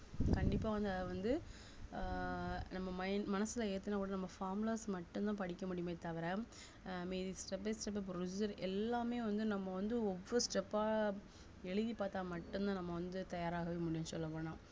கண்டிப்பா வந்து அத வந்து ஆஹ் நம்ம min~ மனசுல ஏத்துனா கூட நம்ம formulas மட்டும்தான் படிக்க முடியுமே தவிர ஆஹ் step by step procedure எல்லாமே வந்து நம்ம வந்து ஒவ்வொரு step ஆ எழுதி பார்த்தா மட்டும்தான் நம்ம வந்து தயாராகவே முடியும் சொல்லப் போனா